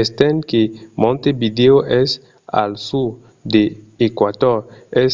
estent que montevideo es al sud de l'eqüator es